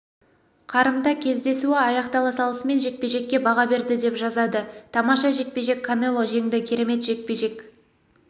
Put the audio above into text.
қарымта кездесуі аяқтала салысымен жекпе-жекке баға берді деп жазады тамаша жекпе-жек канело жеңді керемет жекпе-жек